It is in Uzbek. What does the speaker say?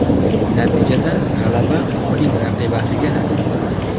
Natijada g‘alaba uning raqibasiga nasib qildi.